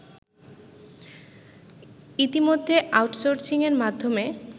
ইতোমধ্যেআউট সোর্সিংয়ের মাধ্যমে